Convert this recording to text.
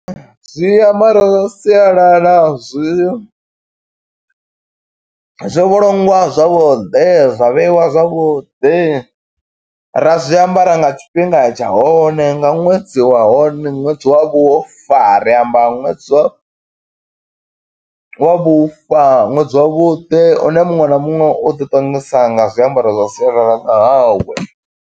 Zwiambaro zwa sialala zwi zwo vhulungwa zwavhuḓi, zwa vheiwa zwavhuḓi. Ra zwiambara nga tshifhinga tsha hone, nga ṅwedzi wa hone, ṅwedzi wa vhufa ri amba ṅwedzi wa, wa vhufa, ṅwedzi wa vhuḓi une muṅwe na muṅwe u ḓi ṱongisa nga zwiambaro zwa sialala ḽa hawe.